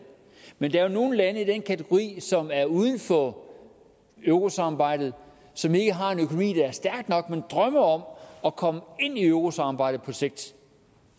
men der er jo nogle lande i den kategori som er uden for eurosamarbejdet og som ikke har en økonomi der er stærk nok men drømmer om at komme ind i eurosamarbejdet på sigt